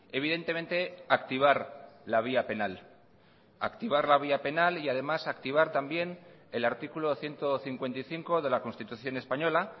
evidentemente activar la vía penal activar la vía penal y además activar también el artículo ciento cincuenta y cinco de la constitución española